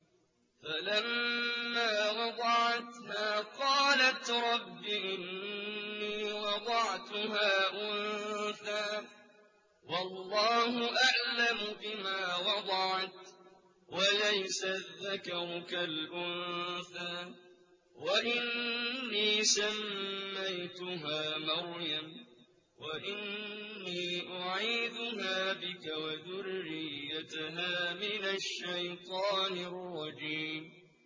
فَلَمَّا وَضَعَتْهَا قَالَتْ رَبِّ إِنِّي وَضَعْتُهَا أُنثَىٰ وَاللَّهُ أَعْلَمُ بِمَا وَضَعَتْ وَلَيْسَ الذَّكَرُ كَالْأُنثَىٰ ۖ وَإِنِّي سَمَّيْتُهَا مَرْيَمَ وَإِنِّي أُعِيذُهَا بِكَ وَذُرِّيَّتَهَا مِنَ الشَّيْطَانِ الرَّجِيمِ